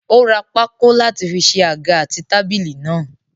Ó ra pákó láti fi ṣe àga àti tábìlì náà.